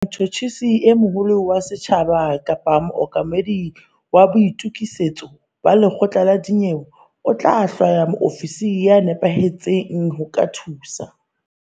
Motjhutjhisi e moholo wa setjhaba kapa mookamedi wa boitokisetso ba lekgotla la dinyewe o tla hlwaya moofisiri ya nepahetseng ho ka thusa.